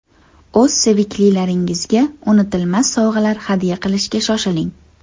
O‘z seviklilaringizga unutilmas sovg‘alar hadya qilishga shoshiling.